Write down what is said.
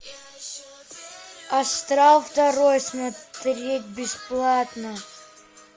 астрал второй смотреть бесплатно